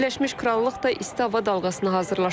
Birləşmiş Krallıq da isti hava dalğasına hazırlaşır.